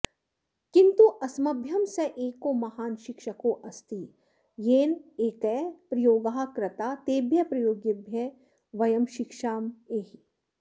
किन्तु अस्मभ्यं स एको महान् शिक्षकोऽस्ति येन नैके प्रयोगाः कृता तेभ्यः प्रयोगेभ्यः वयं शिक्षेमहि